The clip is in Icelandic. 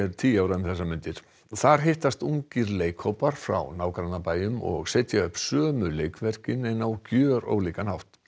tíu ára um þessar mundir þar hittast ungir leikhópar frá nágrannabæjum og setja upp sömu leikverkin en á gjörólíkan hátt